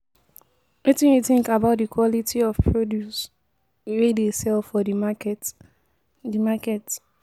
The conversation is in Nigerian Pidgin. Wetin you think about di quality of produce wey dey sell for di market? di market?